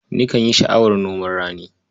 Nikan yi sha'awar noman rani.